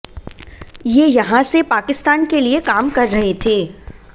ये यहां से पाकिस्तान के लिए काम कर रहे थे